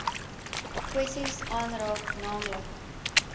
kwessies aanraak naamlik